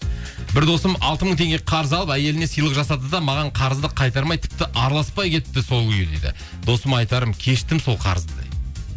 бір досым алты мың теңге қарыз алып әйеліне сыйлық жасап жүр де маған қарызды қайтармай тіпті араласпай кетті сол күйі дейді досыма айтарым кештім сол қарызды